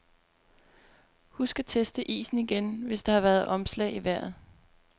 Husk at teste isen igen, hvis der har været omslag i vejret.